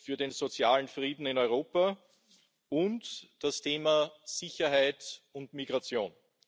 für den sozialen Frieden in Europa und das Thema Sicherheit und Migration.